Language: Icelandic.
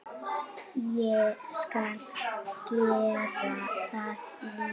Ég skal gera það líka.